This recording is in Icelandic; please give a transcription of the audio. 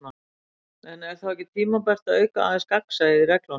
En er þá ekki tímabært að auka aðeins gagnsæið í reglunum?